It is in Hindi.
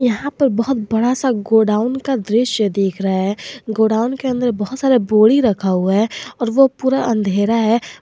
यहां पर है बहुत बड़ा सा गो डाउन का दृश्य दिख रहा है गो डाउन के अन्दर बहुत सा बोरी रखा हुआ है और वो पूरा अंधेरा है।